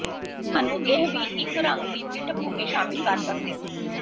ਤੁਹਾਨੂੰ ਇਹ ਵੀ ਇੱਕ ਰੰਗ ਦੀ ਪਿੱਠਭੂਮੀ ਸ਼ਾਮਿਲ ਕਰ ਸਕਦੇ ਹੋ